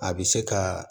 A bɛ se ka